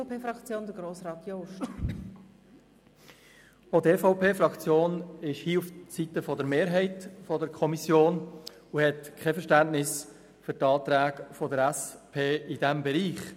Auch die EVP-Fraktion steht hier auf der Seite der Kommissionsmehrheit und hat kein Verständnis für die Anträge der SP in diesem Bereich.